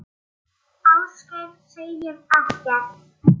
Ásgeir segir ekkert.